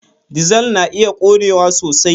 Dizal na iya ƙonewa sosai.